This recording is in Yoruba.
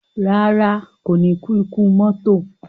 Rárá, kò ní kú ikú mọ́tò